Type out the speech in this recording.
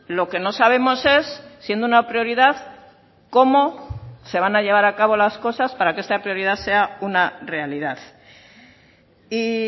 lo que no sabemos es siendo una prioridad cómo se van a llevar a cabo las cosas para que esta prioridad sea una realidad y